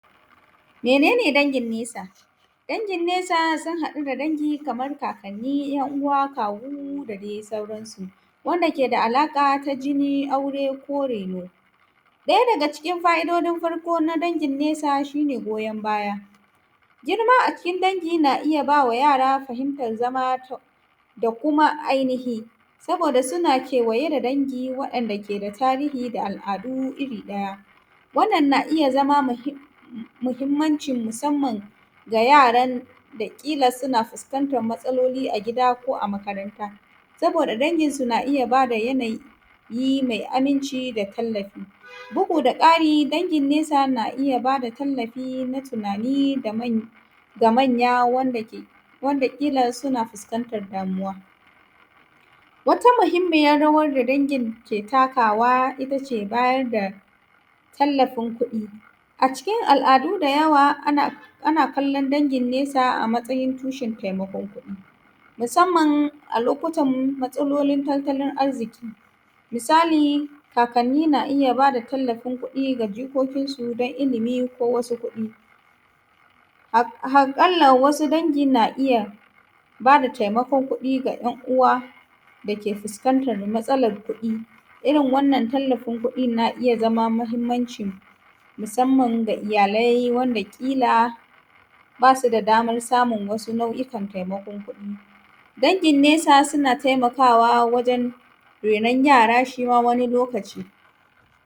menene dangin nesa dangin nesa sun hadu da dangi kaman kakanni yan-uwa kawu da dai sauransu wanda ke da alaqa ta jini ko reno daya daga cikin fa'idodin dagin nesa shine goyon baya girma acikin dangi na iya bama yara fahimtar zama da kuma ainihi saboda suna kewaye da dangi wadanda ke da tarihi da al'adu iri daya wannan na iya zama mihimmancin musamman ga yaran kila suna fiskantan matsalloli a gida ko a makaranta saboda dangin su na iya bada yanayi ma aminci da tallafi bugu da ƙari dangin nesa na iya bada tallafi na tunani da man da manya wanda kila suna fuskantan damuwa wata muhimmayin rawan da dangin ke takawa itace bayarda da tallafin kuɗi a cikin al'adu da yawa ana kallon dagin nesa a matsayin tushen taimako musamman a lokutan matsalolin tartalin arziki misali kakanni na iya bada tallafin kuɗa ga jikokin su dan ilimi ko wasu kuɗi harqallan wasu dangi na iya bada taimakon kuɗi da yan uwa dake fuskantan matsalan kuɗi irin wannan tallafin kuɗin na iya zama mahimmancin musamman daga iyalai wanda kila basu da daman samun wasu nau'ikan kuɗi dangin nesa suna taimakawa wajan raina yara shima wani lokaci